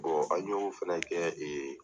an y'o fɛnɛ kɛ